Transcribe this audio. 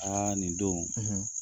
Aa nin don, .